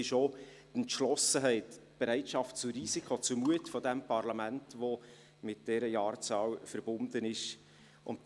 Es sind Entschlossenheit, die Bereitschaft zum Risiko und der Mut dieses Parlaments, welche mit dieser Jahreszahl verbunden sind.